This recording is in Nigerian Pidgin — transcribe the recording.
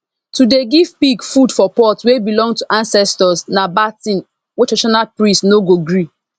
to dey give pig food for pot wey belong to ancestors na bad thing wey traditional priest no go gree